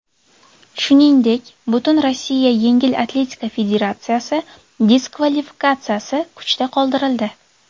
Shuningdek, Butunrossiya yengil atletika federatsiyasi diskvalifikatsiyasi kuchda qoldirildi.